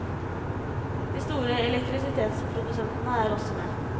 De store elektrisitetsprodusentene er også med.